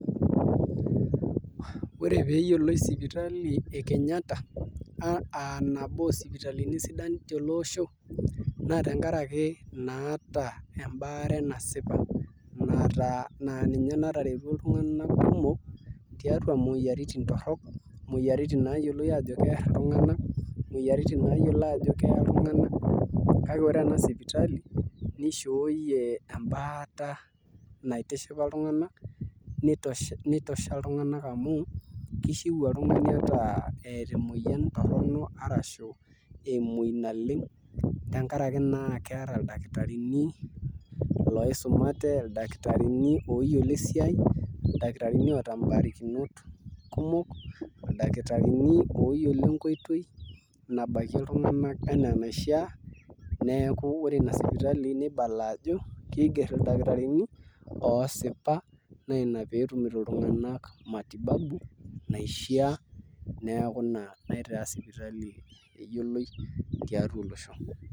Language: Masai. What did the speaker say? Ore pee eyioloi sipitali e Kenyatta aa nabo oosipitalini sidan teele osho naa tenkaraki naata embaare nasipa naa ninye nataretuo iltunganak kumok tiatua imoyiaritin torrok, imoyiaritin naayioloi aajo Kerr iltunganak imoyiaritin naayioloi aajo keya iltunganak kake ore ena sipitali nishooyie embaata naitishipa iltunganak notosha iltunganak amu kishiu oltung'ani at eeta emoyian torrono arashu emoi naleng tenkaraki naa keeta ildakitarini loisumate ildakitarini ooyiolo esiai ildakitarini oota mbarakinot kumok ildakitarini ooyiolo enkoitoi nabakie iltunganak enaa enaishiaa neeku ibala ajo ore ina sipitali kiigerr ildakitarini oosipa naa ina pee etumito iltunganak matibabu naishiaa neeku ina naitaa sipitali eyioloi tiatua olosho.